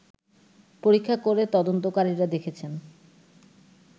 পরীক্ষা করে তদন্তকারীরা দেখেছেন